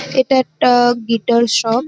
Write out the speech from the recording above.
এটা একটা-আ guitar shop.